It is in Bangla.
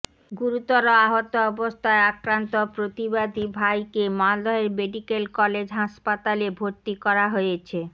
গুরুতর আহত অবস্থায় আক্রান্ত প্রতিবাদী ভাইতে মালদহের মেডিক্যাল কলেজ হাসপাতালে ভরতি করা হয়েছে